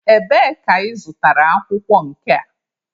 Ebee ka ị zụtara akwụkwọ nke a?